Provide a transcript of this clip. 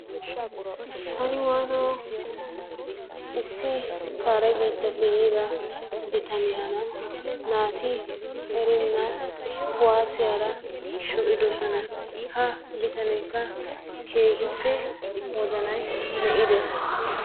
Taani waanoo! issi kare biittappe yiida bitaniyaara naati kuwaasiyaara shoocidoosona. Ha bitaneekka keehippe wozanaay mi"iides.